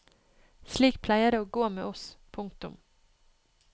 Slik pleier det å gå med oss. punktum